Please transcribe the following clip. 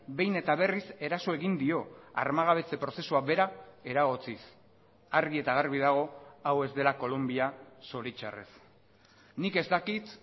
behin eta berriz eraso egin dio armagabetze prozesua bera eragotziz argi eta garbi dago hau ez dela kolonbia zoritzarrez nik ez dakit